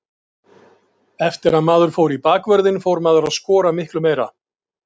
Eftir að maður fór í bakvörðinn fór maður að skora miklu meira.